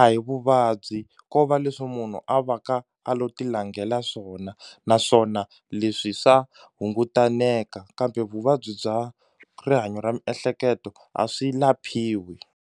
a hi vuvabyi ko va leswi munhu a va ka a lo ti langela swona naswona leswi swa hungutaneka kambe vuvabyi bya rihanyo ra miehleketo a swi laphiwi.